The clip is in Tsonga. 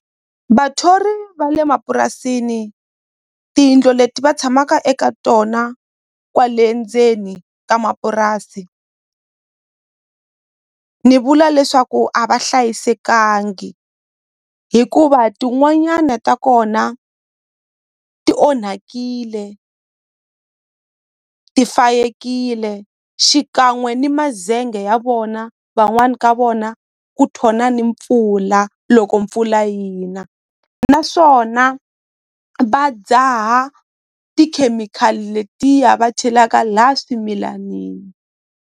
Vathori va le mapurasini tiyindlu leti va tshamaka eka tona kwale ndzeni ka mapurasi ni vula leswaku a va hlayisekangi hikuva tin'wanyana ta kona ti onhakile ti fayekile xikan'we ni mazenge ya vona van'wani ka vona ku thona ni mpfula loko mpfula yina naswona va dzaha tikhemikhali letiya va chelaka la swimilanini.